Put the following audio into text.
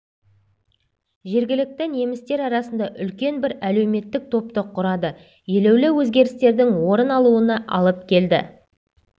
жергілікті немістер арасында үлкен бір әлеуметтік топты құрады елеулі өзгерістердің орын алуына алып келді